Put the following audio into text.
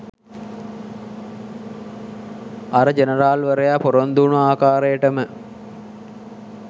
අර ජනරාල්වරයා පොරොන්දු වුණ ආකාරයටම